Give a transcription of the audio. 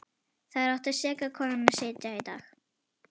Þar átti seka konan að sitja þennan dag.